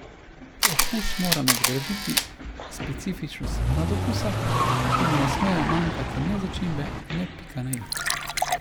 Okus mora nadgraditi specifičnost nadokusa, ki mu ne smejo manjkati ne začimbe ne pika na i.